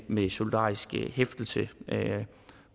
med solidarisk hæftelse